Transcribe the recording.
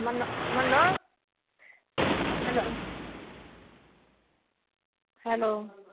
Manu hello hello